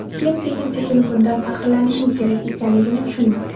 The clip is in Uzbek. Keyin sekin sekin bundan faxrlanishim kerak ekanligini tushundim.